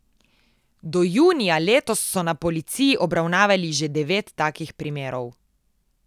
Do junija letos so na policiji obravnavali že devet takih primerov.